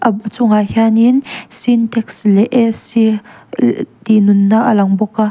a bu chungah hianin sintex leh a c tih nunna a lang bawk a.